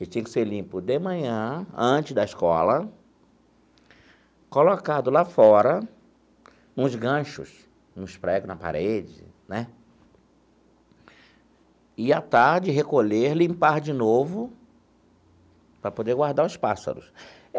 Ele tinha que ser limpo de manhã, antes da escola, colocado lá fora, uns ganchos, uns pregos na parede né, e, à tarde, recolher, limpar de novo, para poder guardar os pássaros.